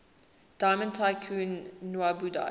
diamond tycoon nwabudike